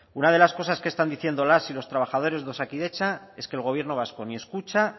una de las cosas que están diciendo las y los trabajadores de osakidetza es que el gobierno vasco ni escucha